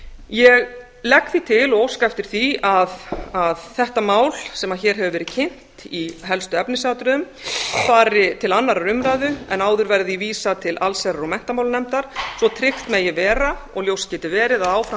ég legg því til og óska eftir því að þetta mál sem hér hefur verið kynnt í helstu efnisatriðum fari til annarrar umræðu en áður verði því vísað til allsherjar og menntamálanefndar svo tryggt megi vera og ljóst geti verið að áfram